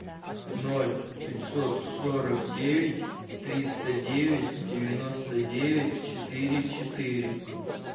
ноль пятьсот сорок девять триста девять девяносто девять четыре четыре